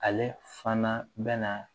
Ale fana bɛna